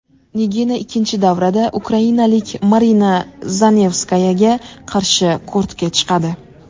Nigina ikkinchi davrada ukrainalik Marina Zanevskayaga qarshi kortga chiqadi.